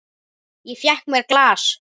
Ég fékk mér glas.